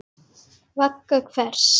Vagga hvers?